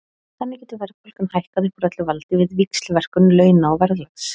Þannig getur verðbólgan hækkað upp úr öllu valdi við víxlverkun launa og verðlags.